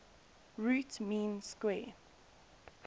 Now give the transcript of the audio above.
root mean square